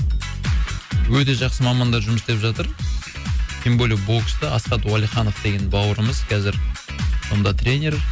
өте жақсы мамандар жұмыс істеп жатыр тем более боксты асхат уалиханов деген бауырымыз қазір онда тренер